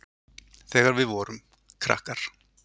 Þegar við vorum. krakkar.